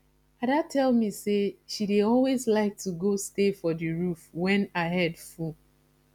ada tell me say she dey always like to go stay for the roof wen her head full